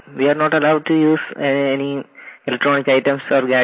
note we are not allowed to use any electronic items ore